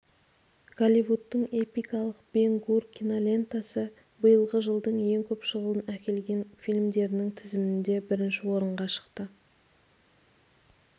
голливудтың эпикалық бен гур кинолентасы биылғы жылдың ең көп шығын әкелген фильмдерінің тізімінде бірінші орынға шықты